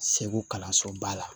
Segu kalansoba la